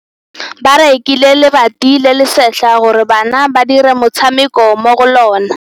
Ba rekile lebati le le setlha gore bana ba dire motshameko mo go lona.